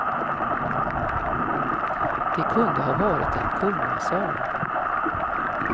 Det kunde ha varit en kungasal.